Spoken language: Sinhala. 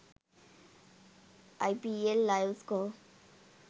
ipl live score